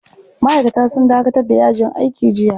Ma'aikata sun dakatar da yajin aiki jiya.